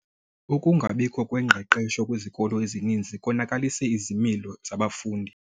Ukungabikho kwengqeqesho kwizikolo ezininzi konakalise izimilo zabafundi.